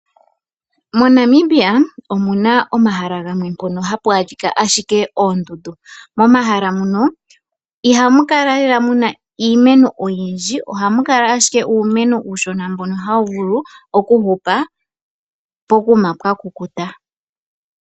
MoNamibia omuna omahala gamwe mpono hapu adhika ashike oondundu. Momahala mono iha mu kala lela muna iimeno oyindji. Oha mu kala ashike uumeno uushona mbono hawu vulu oku hupa pokuma pwa kukuta.